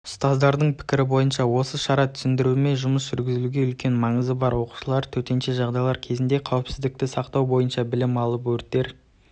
ұстаздардың пікірі бойынша осы шара түсіндіруме жұмыс жүргізуге үлкен маңызы бар оқушылар төтенше жағдайлар кезінде қауіпсіздікті сақтау бойынша білім алып өрттер